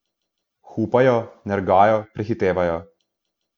Hupajo, nergajo, prehitevajo.